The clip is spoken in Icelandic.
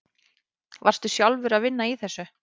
Varstu sjálfur að vinna í þessu?